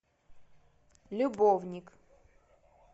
любовник